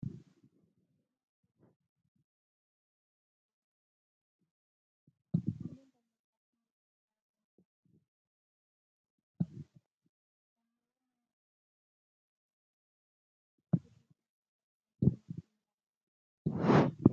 Nanni barnootaa biyya kana keessatti bakkeewwan hedduutti ijaaramaa jira. Manneen barnootaa kunneen ijaaramanii faayidaa barbaadamaniif ooluu irratti argamu. Naannoowwan manni barnootaa itti ijaaramee hinbeekne keessatti hojii boonsaatu akka mootummaatti yeroo ammaa hojjetamaa jira.